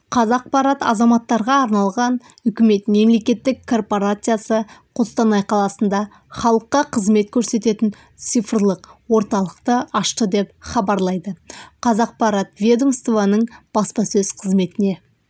қазақпарат азаматтарға арналған үкімет мемлекеттік корпорациясы қостанай қаласында халыққа қызмет көрсететін цифрлық орталықты ашты деп хабарлайды қазақпарат ведомствоның баспасөз қызметіне